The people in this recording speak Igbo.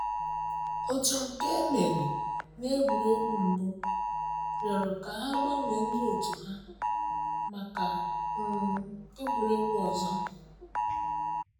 Òtù nke emeri na egwuregwu mbụ rịọrọ ka ha gbanwee ndị òtù hà maka um egwuregwu ọzọ.